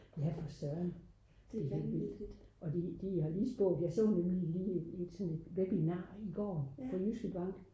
ja for Søren og de har lige spået jeg så nemlig lige et internetwebinar i går for Jyske Bank